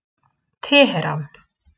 Teheran